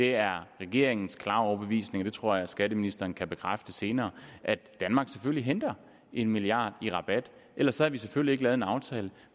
er regeringens klare overbevisning og det tror jeg at skatteministeren kan bekræfte senere at danmark selvfølgelig henter en milliard i rabat ellers havde vi selvfølgelig ikke lavet en aftale